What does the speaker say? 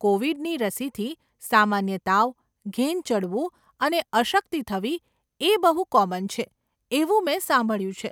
કોવિડની રસીથી સામાન્ય તાવ, ઘેન ચડવું અને અશક્તિ થવી એ બહુ કોમન છે એવું મે સાંભળ્યું છે.